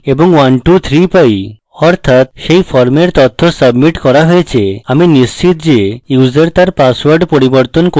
অর্থাৎ set ফর্মের তথ্য submit করা হয়েছে আমি নিশ্চিত যে user there পাসওয়ার্ড পরিবর্তন করতে পারবেন